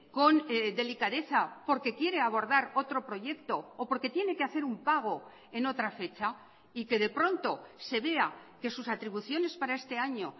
con delicadeza porque quiere abordar otro proyecto o porque tiene que hacer un pago en otra fecha y que de pronto se vea que sus atribuciones para este año